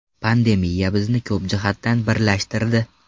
Pandemiya bizni ko‘p jihatdan birlashtirdi.